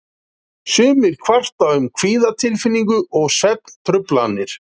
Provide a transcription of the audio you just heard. Sumir kvarta um kvíðatilfinningu og svefntruflanir.